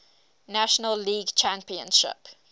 national league championship